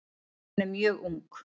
Hún er mjög ung.